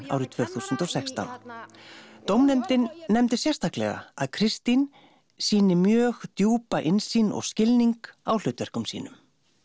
árið tvö þúsund og sextán dómnefndin nefndi sérstaklega að Kristín sýni mjög djúpa innsýn og skilning á hlutverkum sínum